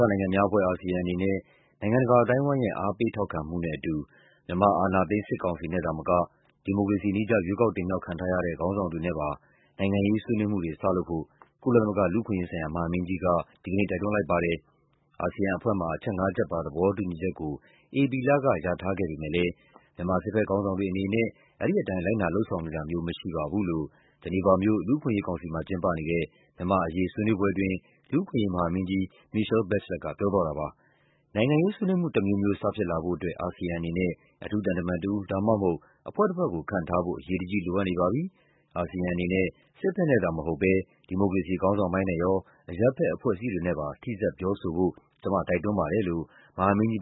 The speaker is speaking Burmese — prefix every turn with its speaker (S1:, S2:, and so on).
S1: ောင်အာရှနိုင်ငံများအဖွဲ့ (ASEAN) အနေနဲ့ နိုင်ငံတကာ အသိုင်းအဝိုင်းရဲ့ အားပေးထောက်ခံမှုနဲ့အတူ မြန်မာ အာဏာသိမ်း စစ်ကောင်စီနဲ့သာမက ဒီမိုကရေစီနည်းကျ ရွေးကောက်တင်မြှောက်ခံထားရတဲ့ ခေါင်းဆောင်တွေနဲ့ပါ နိုင်ငံရေးဆွေးနွေးမှုတွေ စလုပ်ဖို့ ကုလသမဂ္ဂ လူ့အခွင့်အရေးမဟာမင်းကြီးက ဒီနေ့ တိုက်တွန်းလိုက်ပါတယ်။ အာဆီယံအဖွဲ့မှာ အချက်ငါးချက်ပါ သဘောတူညီချက်ကို ဧပြီလက ရထားခဲ့ပေမယ့်လည်း "မြန်မာ စစ်ဘက်ခေါင်းဆောင်တွေအနေနဲ့ အဲဒီအတိုင်း လိုက်နာလုပ်ဆောင်နေတာမျိုး မရှိပါဘူး" လို့ ဂျီနီဗာမြို့၊ လူ့အခွင့်အရေးကောင်စီမှာ ကျင်းပနေတဲ့ မြန်မာ့အရေး ဆွေးနွေးပွဲအတွင်း လူ့အခွင့်အရေး မဟာမင်းကြီး Michelle Bachelet က ပြောသွားပါတယ်။ "နိုင်ငံရေးဆွေးနွေးမှုတမျိုးမျိုး စဖြစ်လာဖို့အတွက် အာဆီယံအနေနဲ့ အထူးသံတမန်တဦး ဒါမှမဟုတ် အဖွဲ့တဖွဲ့ကို ခန့်ထားဖို့ အရေးတကြီး လိုအပ်နေပါပြီ။ အာဆီယံအနေနဲ့ စစ်ဘက်နဲ့သာမဟုတ်ဘဲ ဒီမိုကရေစီ ခေါင်းဆောင်ပိုင်းနဲ့ရော အရပ်ဘက်အဖွဲ့အစည်းတွေနဲ့ပါ ထိစပ်ပြောဆိုဖို့
S2: ကျမတိုက်တွန်းပါတယ်" လို့ မဟာမင်းကြီး